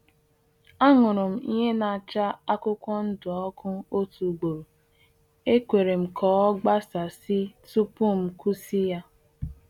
Ahụrụ m ihe na-acha akwụkwọ ndụ ọkụ otu ugboro, ekwerem ka ọ gbasasị tupu m kwusi-ya